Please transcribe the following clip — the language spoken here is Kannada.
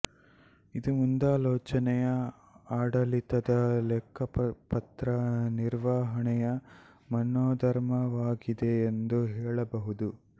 ಇದು ಮುಂದಾಲೋಚನೆಯ ಆಡಳಿತದ ಲೆಕ್ಕಪತ್ರ ನಿರ್ವಹಣೆಯ ಮನೋಧರ್ಮವಾಗಿದೆ ಎಂದು ಹೇಳಬಹುದು